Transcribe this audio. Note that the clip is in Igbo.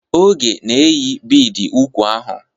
Oge na-eyi bidi úkwù ahụ.